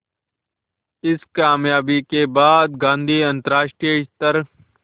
इस क़ामयाबी के बाद गांधी अंतरराष्ट्रीय स्तर